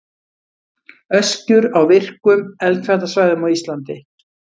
Öskjur á virkum eldfjallasvæðum á Íslandi.